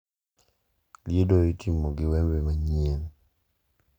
Liedo itimo gi wembe manyien.